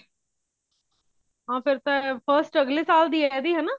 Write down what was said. ਹਾਂ ਫੇਰ ਤਾਂ first ਅੱਗਲੇ ਸਾਲ ਦੀ ਐ ਇਹਦੀ ਹਨਾ